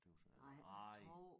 Tøs jeg nej